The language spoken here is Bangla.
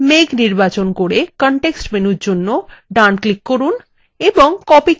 মেঘ নির্বাচন copy context menu জন্য ডান click করুন এবং copy click করুন